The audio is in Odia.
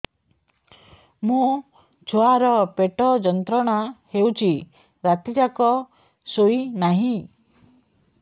ମୋ ଛୁଆର ପେଟ ଯନ୍ତ୍ରଣା ହେଉଛି ରାତି ଯାକ ଶୋଇନାହିଁ